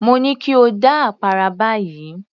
Mo ní kí o dá àpárá báyìí